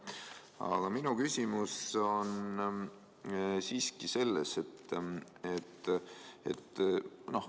Aga minu küsimus on siiski teine.